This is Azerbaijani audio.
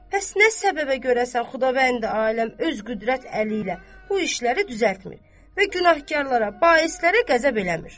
Bəs nə səbəbə görəsən Xudavəndi aləm öz qüdrət əli ilə bu işləri düzəltmir və günahkarlara, baislərə qəzəb eləmir.